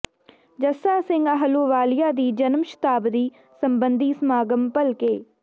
ਜਸਾ ਸਿੰਘ ਆਹਲੂਵਾਲੀਆ ਦੀ ਜਨਮ ਸ਼ਤਾਬਦੀ ਸਬੰਧੀ ਸਮਾਗਮ ਭਲਕੇ